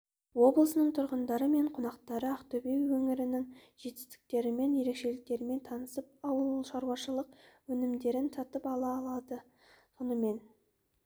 облысының тұрғындары мен қонақтары ақтөбе өңірінің жетістіктерімен ерекшеліктерімен танысып ауылшаруашылық өнімдерін сатып ала алады сонымен